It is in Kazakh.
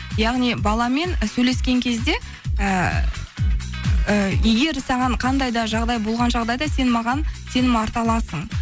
яғни баламен сөйлескен кезде ыыы егер саған қандай да жағдай болған жағдайда сен маған сенім арта аласың